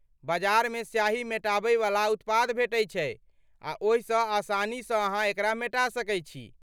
बजारमे स्याही मेटाबै वला उत्पाद भेटै छै आ ओहिसँ आसानीसँ अहाँ एकरा मेटा सकैत छी।